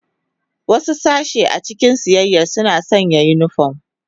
Wasu sashe a cikin siyayya sun sanna sa unifom.